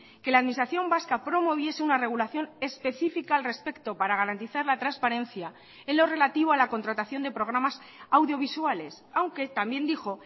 que la administración vasca promoviese una regulación específica al respecto para garantizar la transparencia en lo relativo a la contratación de programas audiovisuales aunque también dijo